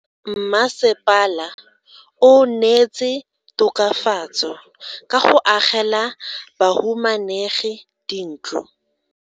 Mmasepala o neetse tokafatso ka go agela bahumanegi dintlo.